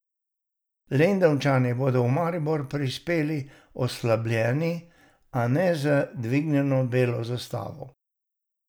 Lendavčani bodo v Maribor prispeli oslabljeni, a ne z dvignjeno belo zastavo.